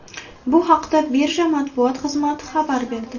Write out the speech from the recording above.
Bu haqda birja matbuot xizmati xabar berdi .